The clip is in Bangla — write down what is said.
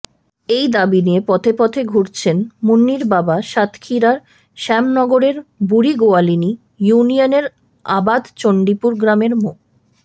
এই দাবি নিয়ে পথে পথে ঘুরছেন মুন্নির বাবা সাতক্ষীরার শ্যামনগরের বুড়িগোয়ালিনী ইউনিয়নের আবাদচণ্ডীপুর গ্রামের মো